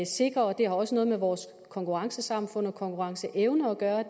sikre og det har også noget med vores konkurrencesamfund og konkurrenceevne at gøre